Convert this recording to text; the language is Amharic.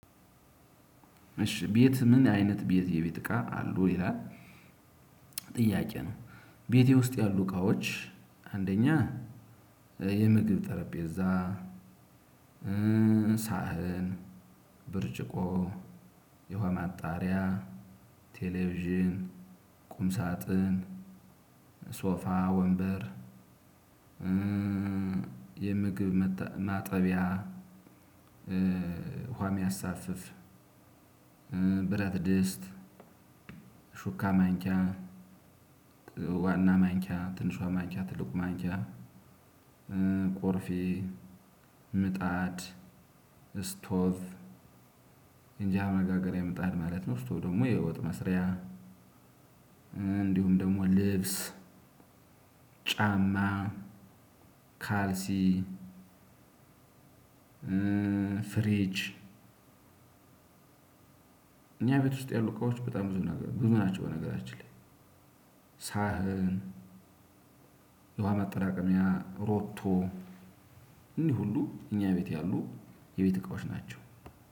እሺ ቤት ምን አይነት ቤት የቤት እቃ አሉ ይላል? ጥያቄ ነው ቤቴ ውስጥ ያሉ እቃዎች አንደኛ የምግብ ጠረቤዛ ሳህን ብርጭቆ የውሃ ማጣሪያ ቴሌቪዥን ቁም ሳጥን ሶፋ ወንበር የምግብ መተ ማጠቢያ ውሃ የሚያሳፍፍ ብረት ድስት ሹካ ማንኪያ ዋና ማንኪያ ትንሿ ማንኪያ ትልቁ ማንኪያ ቆርፌ ምጣድ እስቶፍ የእንጀራ መጋገሪያ ምጣድ ማለት ነው። ስቶፍ ደግሞ የወጥ መስሪያ እንዲሁም ደግሞ ልብስ ጫማ ካልሲ ፍሪጅ እኛ ቤት ውስጥ ያሉ እቃዎች በጣም ብዙ ነገር ብዙ ናቸው። በነገራችን ላይ ሳህን የውሃ መጠራቀሚያ ሮቶ። እኒህ ሁሉ እኛ ቤት ያሉ የቤት እቃዎች ናቸው።